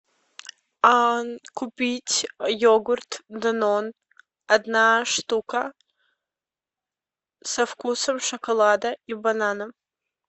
купить йогурт данон одна штука со вкусом шоколада и банана